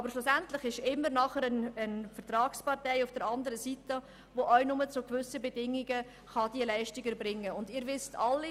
Aber schliesslich steht am anderen Ende auch eine Vertragspartei, die ihre Leistungen nur zu gewissen Bedingungen erbringen kann.